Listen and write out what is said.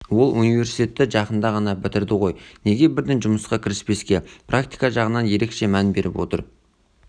ол университетті жақында ғана бітірді ғой неге бірден жұмысқа кіріспеске практика жағына ерекше мән беріп отыр